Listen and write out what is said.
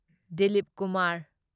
Dilip Kumar